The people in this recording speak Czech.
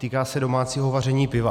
Týká se domácího vaření piva.